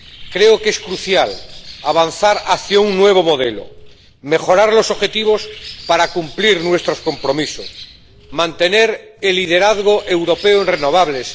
Creo que es crucial avanzar hacia un nuevo modelo, mejorar los objetivos para cumplir nuestros compromisos, mantener el liderazgo europeo en renovables.